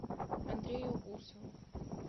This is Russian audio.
андрею усову